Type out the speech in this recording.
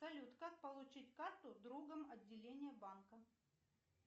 салют как получить карту в другом отделении банка